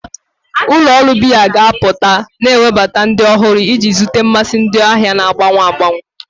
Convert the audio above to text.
Ụlọ ọrụ biya ga-apụta, na-ewebata ụdị ọhụrụ iji zute mmasị ndị ahịa na-agbanwe agbanwe.